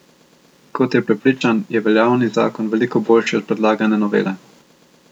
Kot je prepričan, je veljavni zakon veliko boljši od predlagane novele.